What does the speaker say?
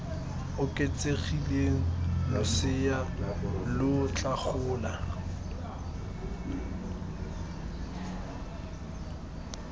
oketsegileng losea lo tla gola